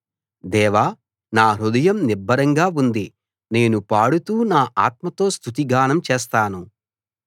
దేవా నా హృదయం నిబ్బరంగా ఉంది నేను పాడుతూ నా ఆత్మతో స్తుతిగానం చేస్తాను